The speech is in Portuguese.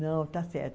Não, tá certo.